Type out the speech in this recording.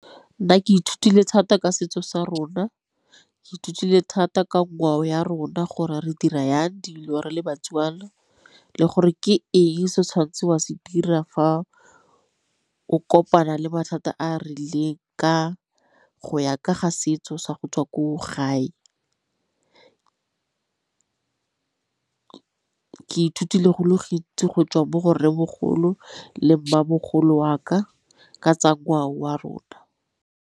Nna ke ithutile thata ka setso sa rona, ke ithutile thata ka ngwao ya rona gore re dira yang dilo re le baTswana, le gore ke eng se o tshwanetseng wa se dira fa o kopana le mathata a a rileng go ya ka ga setso sa gotswa ko gae. Ke ithutile go le gontsi go tswa mo go rre mogolo le mmamogolo wa ka ka tsa ngwao wa rona.